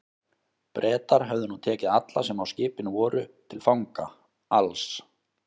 Bretar höfðu nú tekið alla, sem á skipinu voru, til fanga, alls